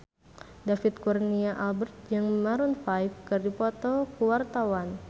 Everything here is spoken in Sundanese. David Kurnia Albert jeung Maroon 5 keur dipoto ku wartawan